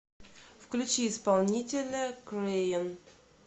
включи исполнителя крэйон